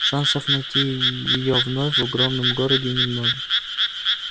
шансов найти её вновь в огромном городе немного